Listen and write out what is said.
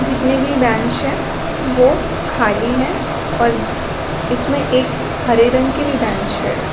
जितने भी बैंच है वो खाली है और इसमें एक हरे रंग की भी बैंच है।